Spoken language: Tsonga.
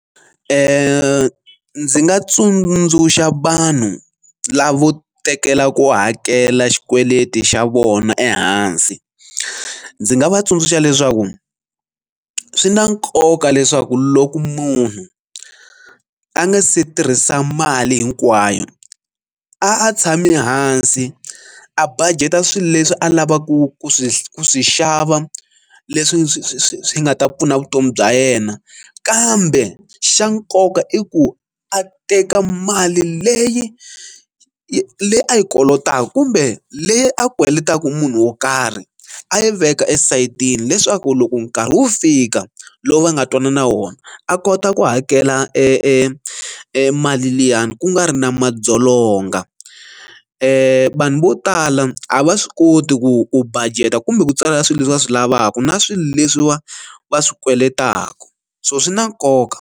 ndzi nga tsundzuxa vanhu lavo tekela ku hakela xikweleti xa vona ehansi ndzi nga va tsundzuxa leswaku swi na nkoka leswaku loko munhu a nga se tirhisa mali hinkwayo a tshame hansi a budget a swilo leswi a lavaku ku swi ku swi xava leswi swi nga ta pfuna vutomi bya yena kambe xa nkoka i ku a teka mali leyi yi leyi a yi kolotaku kumbe leyi a kweletaku munhu wo karhi a yi veka esayitini leswaku loko nkarhi wu fika lowu va nga twanana wona a kota ku hakela e mali liyani ku nga ri na madzolonga vanhu vo tala a va swi koti ku u budget a kumbe ku tswalela swilo leswi va swi lavaka na swilo leswiwa va swi kweletaku so swi na nkoka.